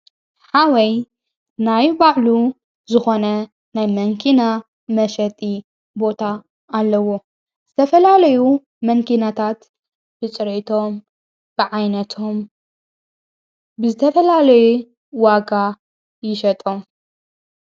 ሓወይ ናይ ባዕሉ ዝኾነ ናይ መንኪና መሸጢ ቦታ ኣለዎ ዝተፈላለዩ መንኪናታት ብጽረቶም ብዓይነቶም ብዝተፈላለይ ዋጋ ይሸጦም።